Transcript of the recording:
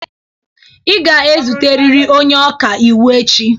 Ị ga ezute riri onye ọka iwu echi!